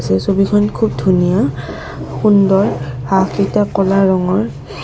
এই ছবিখন খুব ধুনীয়া সুন্দৰ হাঁহ কেইটা কলা ৰঙৰ।